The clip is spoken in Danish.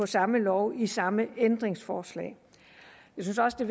samme lov i samme ændringslovforslag jeg synes også det